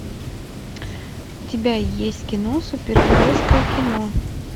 у тебя есть кино супергеройское кино